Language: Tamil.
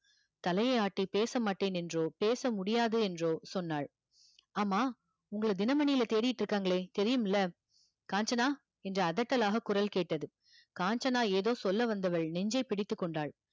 தலையை ஆட்டி பேச மாட்டேன் என்றோ பேச முடியாது என்றோ சொன்னாள் ஆமா உங்களை தினமணியில தேடிட்டு இருக்காங்களே தெரியுமில்ல காஞ்சனா என்று அதட்டலாக குரல் கேட்டது காஞ்சனா ஏதோ சொல்ல வந்தவள் நெஞ்சை பிடித்துக் கொண்டாள்